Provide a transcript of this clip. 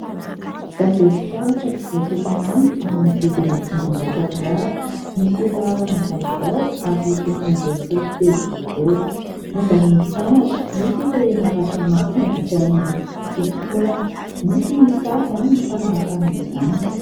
Gazety taratra mpivoaka isan'andro amin'ny vidina dimanjato ariary, misy laharana vaovao ary enina amin'ny folo pejy eo ho eo. Momban'ny mpianatra : nisy ireo naratra mafy nandritra ny fitokonana, misy ny sary mifanaraka amin'izany.